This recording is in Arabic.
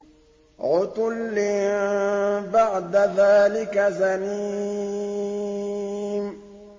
عُتُلٍّ بَعْدَ ذَٰلِكَ زَنِيمٍ